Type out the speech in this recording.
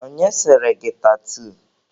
Onye sere gị tatuu?